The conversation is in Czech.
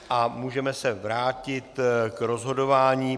A můžeme se vrátit k rozhodování.